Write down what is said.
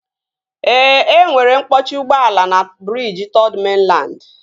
Ee, enwere mkpọchi ụgbọala na briji Third Mainland